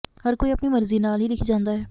ਹਰ ਕੋਈ ਆਪਣੀ ਮਰਜੀ ਨਾਲ਼ ਹੀ ਲਿਖੀ ਜਾਂਦਾ ਹੈ